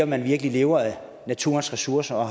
man virkelig lever af naturens ressourcer at